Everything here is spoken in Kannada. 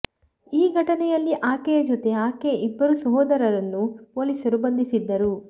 ಈ ಘಟನೆಯಲ್ಲಿ ಆಕೆಯ ಜೊತೆ ಆಕೆಯ ಇಬ್ಬರು ಸೋದರರನ್ನೂ ಪೊಲೀಸರು ಬಂಧಿಸಿದ್ದರು